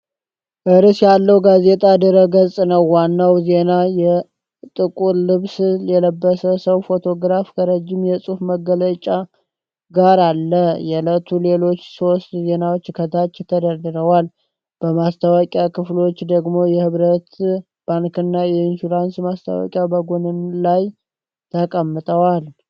ርዕስ ያለው ጋዜጣ ድረ-ገጽ ነው። ዋናው ዜና የጥቁር ልብስ የለበሰን ሰው ፎቶግራፍ ከረዥም የጽሑፍ መግለጫ ጋር አለ። የዕለቱ ሌሎች ሦስት ዜናዎች ከታች ተደርድረዋል። በማስታወቂያ ክፍሎች ደግሞ የኅብረት ባንክና የኢንሹራንስ ማስታወቂያዎች በጎንና ላይ ተቀምጠዋል።